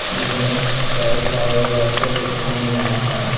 जिसमें कई सारे लड़के लोग घूम रहे हैं।